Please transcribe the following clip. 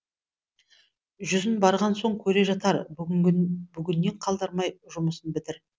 жүзін барған соң көре жатар бүгіннен қалдырмай жұмысын бітір